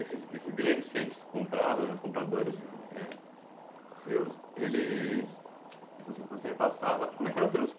Esses esses grandes centros que você comprava, os compradores, é... seus, eles...